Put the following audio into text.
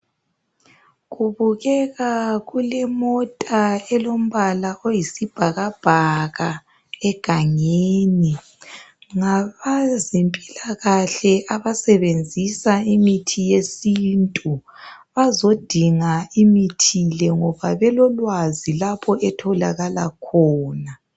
Kubukeka kulemota elombala oyisibhakabhaka egangeni. Ngabazempilakahle abasebenzisa imithi yesintu. Bazodinga imithi le ngoba belolwazi lapho etholakala khona.